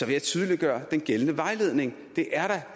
jeg tydeliggøre den gældende vejledning det er